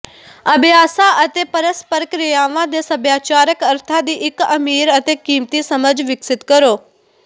ਅਭਿਆਸਾਂ ਅਤੇ ਪਰਸਪਰ ਕ੍ਰਿਆਵਾਂ ਦੇ ਸੱਭਿਆਚਾਰਕ ਅਰਥਾਂ ਦੀ ਇੱਕ ਅਮੀਰ ਅਤੇ ਕੀਮਤੀ ਸਮਝ ਵਿਕਸਤ ਕਰੋ